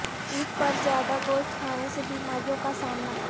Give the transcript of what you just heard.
عید پر زیادہ گوشت کھانے سے بیماریوں کا سامنا